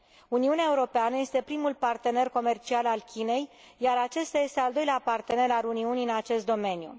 Uniunea Europeană este primul partener comercial al Chinei, iar aceasta este al doilea partener al Uniunii în acest domeniu.